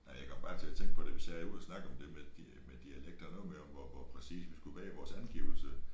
Ja jeg kom bare til at tænke på det hvis jeg er ude og snakke om det med de med dialekter og noget med om hvor hvor præcis vi skull være i vores angivelse